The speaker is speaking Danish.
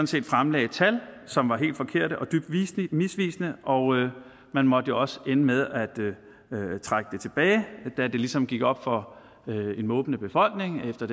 set fremlagde tal som var helt forkerte og dybt misvisende og man måtte jo også ende med at trække det tilbage da det ligesom gik op for en måbende befolkning at det